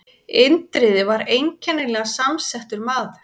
Indriði var einkennilega samsettur maður.